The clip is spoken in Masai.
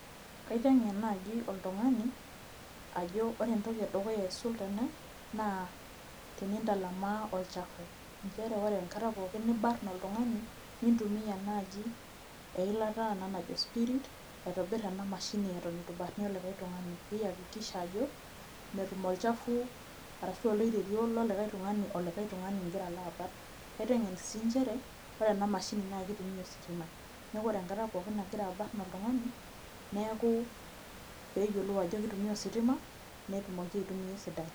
kaitenge naaji oltungani ajo ore entoki edukuya aaisul tene naa tenintalamaa olchafu. nchere ore enkata pookin nibarn oltungani, nintumia naaj eilata arashu spirit aitobir ena mashini eton eitu ibarnie likae tung'ani. niyakikisah ajo metii olchafua arashu oloiterio lolikae tungani, olika e tungani igira aolo aabarn. naitegen sii nchere ore ena mashini naa kitumia osiatima. neeku ore enkata pokin nagira abarn oltungani, neeku pee eyiolou ajo kitumia ositima netumoki aitumia esidai.